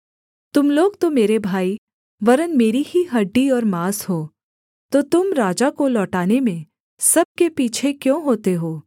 तुम लोग तो मेरे भाई वरन् मेरी ही हड्डी और माँस हो तो तुम राजा को लौटाने में सब के पीछे क्यों होते हो